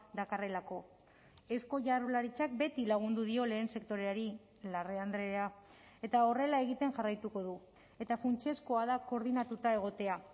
dakarrelako eusko jaurlaritzak beti lagundu dio lehen sektoreari larrea andrea eta horrela egiten jarraituko du eta funtsezkoa da koordinatuta egotea